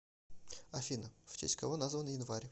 афина в честь кого назван январь